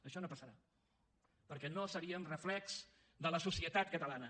això no passarà perquè no seríem reflex de la societat catalana